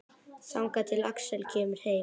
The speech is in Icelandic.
Þangað til Axel kemur heim.